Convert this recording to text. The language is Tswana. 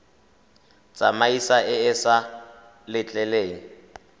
tsamaiso e e sa letleleleng